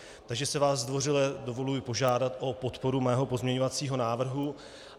Takže si vás zdvořile dovoluji požádat o podporu mého pozměňovacího návrhu.